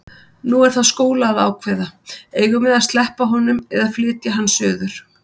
Nú er það Skúla að ákveða: Eigum við að sleppa honum eða flytja hann suður?